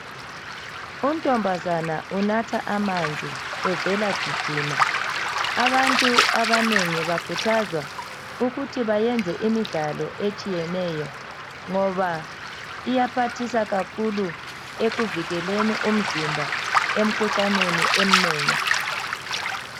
Untombazana unatha amanzi evela gijima. Abantu abanengi bakhuthazwa ukuthi bayenze imidlalo etshiyeneyo ngoba iyaphathisa kakhulu ekuvikeleni umzimba emkhuhlaneni emnengi.